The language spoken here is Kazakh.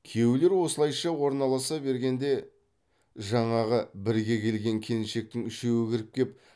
күйеулер осылайша орналаса бергенде жаңағы бірге келген келіншектің үшеуі кіріп кеп